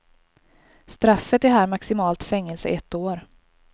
Straffet är här maximalt fängelse ett år.